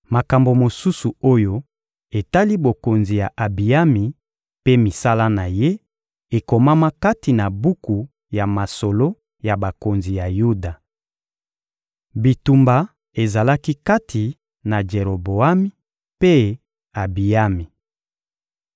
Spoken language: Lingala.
Makambo mosusu oyo etali bokonzi ya Abiyami mpe misala na ye, ekomama kati na buku ya masolo ya bakonzi ya Yuda. Bitumba ezalaki kati na Jeroboami mpe Abiyami.